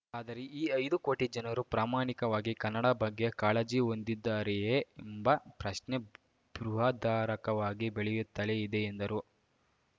ಆದರೆ ಈ ಐದು ಕೋಟಿ ಜನರು ಪ್ರಾಮಾಣಿಕವಾಗಿ ಕನ್ನಡ ಬಗ್ಗೆ ಕಾಳಜಿ ಹೊಂದಿದ್ದಾರೆಯೆ ಎಂಬ ಪ್ರಶ್ನೆ ಬೃಹದಾರಕಾವಾಗಿ ಬೆಳೆಯುತ್ತಲೆ ಇದೆ ಎಂದರು